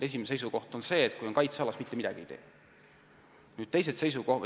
Esimene seisukoht on see, et kui on tegemist kaitsealaga, siis ei tee me mitte midagi.